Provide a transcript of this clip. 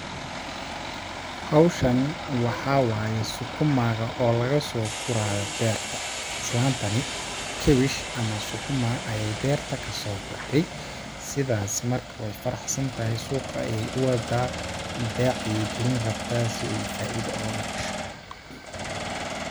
Hawshani waxaa waaye sukuma ga oo lagasoo guraayo beerta islaantani cabbage ama sukuma ayeey beerta kasoo gurtay, ,sidaas marka weey faraxsan tahay suuqa ayeey u wadaa beec ayeey galin rabtaa si ooy faiida ooga hesho.